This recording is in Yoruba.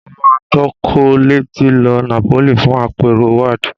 Mo máa tọkọ̀ létí lọ Napoli fún àpérò WAAD